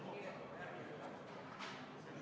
Lugupeetud ettekandja, teile on küsimusi.